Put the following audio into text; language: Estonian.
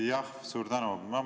Jah, suur tänu!